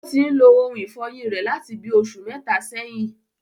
Ó tin ń lo ohun ìfọyín rẹ̀ láti bí oṣù mẹ́ta ẹyìn